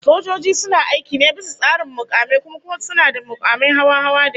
Sojoji suna aiki ne bisa tsarin mukami, kuma suna da makumai hawa-hawa da yawa